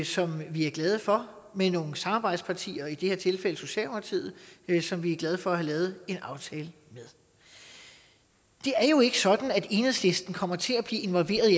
som vi er glade for med nogle samarbejdspartier i det her tilfælde socialdemokratiet som vi er glade for at have lavet en aftale med det er jo ikke sådan at enhedslisten kommer til at blive involveret i